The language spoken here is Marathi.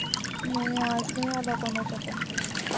नाही आज नाही आला कोणाचा पण phone